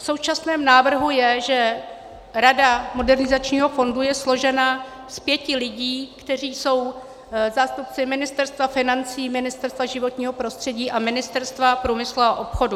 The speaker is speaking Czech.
V současném návrhu je, že rada modernizačního fondu je složena z pěti lidí, kteří jsou zástupci Ministerstva financí, Ministerstva životního prostředí a Ministerstva průmyslu a obchodu.